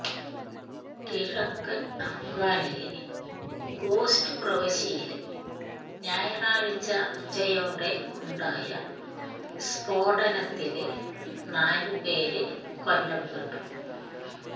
കിഴക്കന് അഫ്ഗാനിലെ ഖോസ്റ്റ് പ്രവിശ്യയില് ഞായറാഴ്ച ഉച്ചയോടെ ഉണ്ടായ സ്ഫോടനത്തില് നാലുപേര് കൊല്ലപ്പെട്ടു